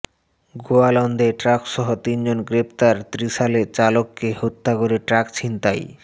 গোয়ালন্দে ট্রাকসহ তিনজন গ্রেপ্তার ত্রিশালে চালককে হত্যা করে ট্রাক ছিনতাই